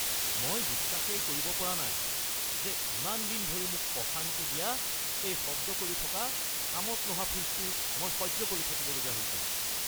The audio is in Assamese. মই বিশ্বাসেই কৰিব পৰা নাই যে ইমান দিন ধৰি মোক অশান্তি দিয়া এই শব্দ কৰি থকা, কামত নহা ফ্ৰিজটো মই সহ্য কৰি থাকিবলগীয়া হৈছে।